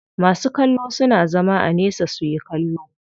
Masu kallo suna zama a nesa suyi kallo.